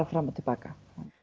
fram og til baka